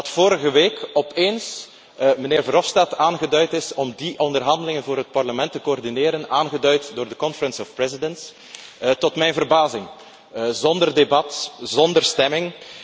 Dat vorige week opeens meneer Verhofstadt aangeduid is om die onderhandelingen voor het Parlement te coördineren, aangeduid door de Conferentie van voorzitters. Tot mijn verbazing zonder debat, zonder stemming.